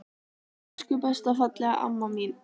Elsku besta fallega amma mín.